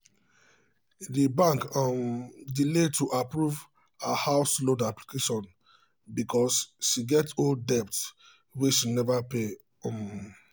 the bank um delay to approve her house loan application because she get old debt wey she never pay. um